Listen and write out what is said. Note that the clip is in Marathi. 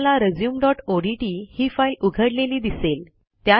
तुम्हाला resumeओडीटी ही फाईल उघडलेली दिसेल